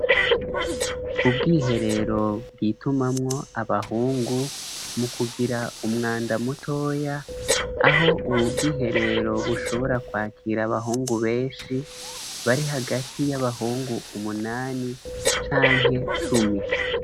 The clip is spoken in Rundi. Ubwiherero bwitumamwo abahungu mu kugira umwandamutoya aho, ubu bwiherero bushobora kwakira abahungu benshi bari hagati y'abahungu umunani canke cumi.